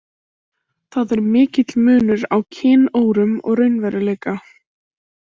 Það er mikill munur á kynórum og raunveruleika.